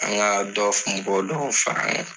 An ŋaa dɔ f nbɔ dɔw far'an ŋa.